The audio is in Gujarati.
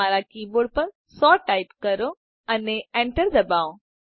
તમારા કી બોર્ડ પર 100ટાઈપ કરો અને enterદબાવો